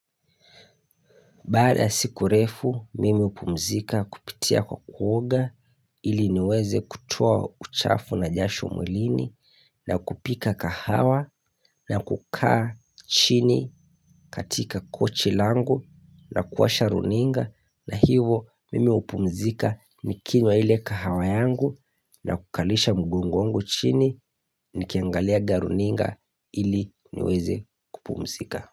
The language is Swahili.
Baada ya siku refu mimi upumzika kupitia kwa kuoga ili niweze kutua uchafu na jasho mwilini na kupika kahawa na kukaa chini katika kochi langu na kuwasha runinga na hivo mimi upumzika nikinywa ile kahawa yangu na kukalisha mgong wangu chini nikiangaliaga runinga ili niweze kupumzika.